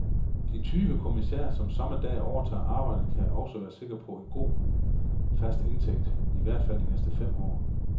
De tyve kommissærer, som samme dag overtager arbejdet, kan også være sikre på en god, fast indtægt, i hvert fald i de næste fem år.